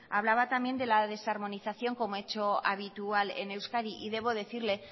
hablaba también de la desarmonización como hecho habitual en euskadi y debo decirle